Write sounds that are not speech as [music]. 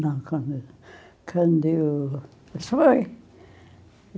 Não, quando eu quando eu [unintelligible]